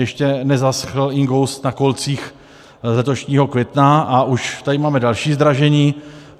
Ještě nezaschnul inkoust na kolcích z letošního května, a už tady máme další zdražení.